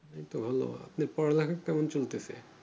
এই তো ভালো নিয়ে পড়ালেখা কেমন চলতেসে?